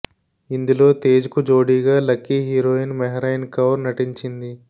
ఇందులో తేజ్ కు జోడీగా లక్కీ హీరోయిన్ మెహ్రయిన్ కౌర్ నటించింది